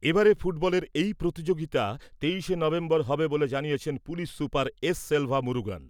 এবারে ফুটবলের এই প্রতিযোগিতা তেইশে নভেম্বর হবে বলে জানিয়েছেন police super S Selva Murugan.